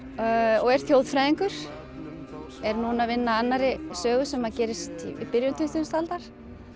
og er þjóðfræðingur er núna að vinna að annarri sögu sem gerist í byrjun tuttugustu aldar